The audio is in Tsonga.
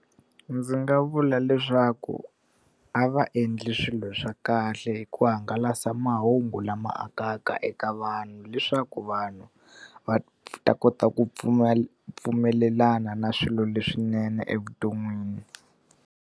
Ndzi nga vula leswaku a va endli swilo swa kahle hi ku hangalasa mahungu lama akaka eka vanhu, leswaku vanhu va ta kota ku pfumelelana na swilo leswinene evuton'wini